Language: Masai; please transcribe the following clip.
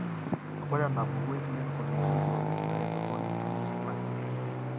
Ore enapuku eclinical yioloti oleng naa entoroni eminyor napi.